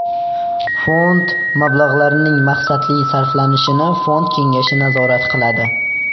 Fond mablag‘larining maqsadli sarflanishini fond kengashi nazorat qiladi.